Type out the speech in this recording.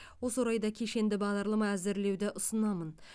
осы орайда кешенді бағдарлама әзірлеуді ұсынамын